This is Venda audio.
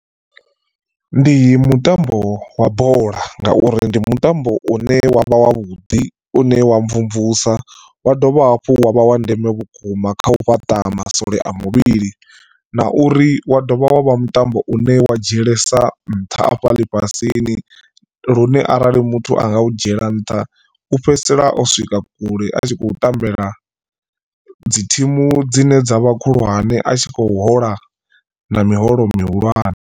Ndi mutambo wa bola ngauri ndi mutambo une wavha wa vhuḓi une wa mvumvusa wa dovha hafhu wa vha wa ndeme vhukuma kha u fhaṱa maswole a muvhili na uri wa dovha wavha mutambo une wa dzhielesa nṱha afha ḽifhasini lune arali muthu anga u dzhiela nṱha u fhedzisela o swika kule a tshi khou tambela dzi thimu dzine dza vha khulwane a tshi khou hola na miholo mihulwane.